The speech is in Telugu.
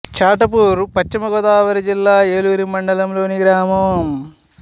చాటపర్రు పశ్చిమ గోదావరి జిల్లా ఏలూరు మండలం లోని గ్రామం